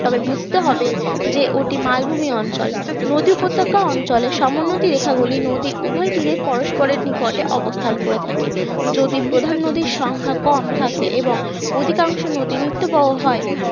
তবে বুঝতে হবে যে ওটি মালভূমি অঞ্চল নদী উপত্যকা অঞ্চলের সমোন্নতি রেখা গুলির নদী উভয় তীরে পরস্পরের নিকট অবস্থান করে থাকে যদি প্রধান নদীর সংখ্যা কম থাকে এবং অধিকাংশ নদী নিত্যবহ হয়